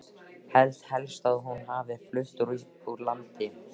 Held helst að hún hafi flutt úr landi.